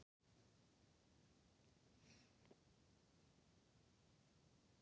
Smelltu hér til að sjá textalýsingu Fótbolta.net.